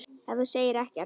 En þú segir ekkert.